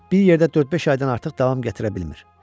Bir yerdə dörd-beş aydan artıq davam gətirə bilmir.